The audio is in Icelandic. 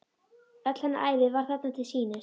Öll hennar ævi var þarna til sýnis.